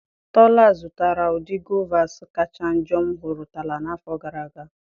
Tola zụtara ụdị guavas kacha njọ m hụtụrụla n'afọ gara aga.